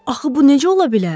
Axı bu necə ola bilər?